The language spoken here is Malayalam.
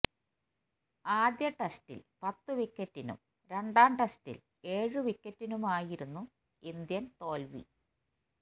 ആദ്യ ടെസ്റ്റില് പത്തു വിക്കറ്റിനും രണ്ടാം ടെസ്റ്റില് ഏഴു വിക്കറ്റിനുമായിരുന്നു ഇന്ത്യന് തോല്വി